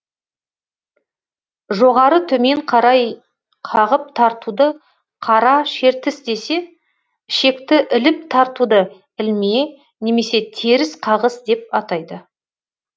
жоғары төмен қарай қағып тартуды қара шертіс десе ішекті іліп тартуды ілме немесе теріс қағыс деп атайды